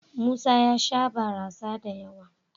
Musa ya sha barasa da yawa.